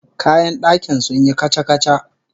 Kayan dakin sun yi kaca-kaca